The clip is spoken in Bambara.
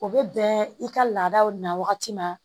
O bɛ bɛn i ka laadaw na wagati ma